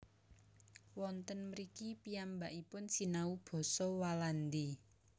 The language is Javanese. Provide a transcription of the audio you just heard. Wonten mriki piyambakipun sinau basa Walandi